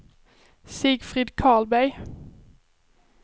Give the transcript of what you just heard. Sigfrid Karlberg